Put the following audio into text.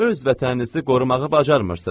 Öz vətəninizi qorumağı bacarmırsız.